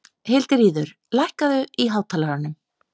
Hildiríður, lækkaðu í hátalaranum.